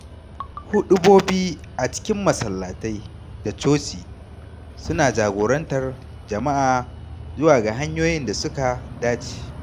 Huɗubobi a cikin masallatai da coci suna jagorantar jama’a zuwa ga hanyoyin da suka dace.